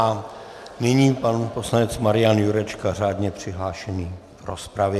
A nyní pan poslanec Marian Jurečka, řádně přihlášený v rozpravě.